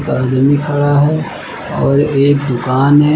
आदमी खड़ा है और एक दुकान है।